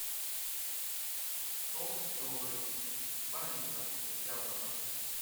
сок добрый два литра яблоко